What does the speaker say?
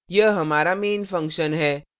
यह हमारा main function है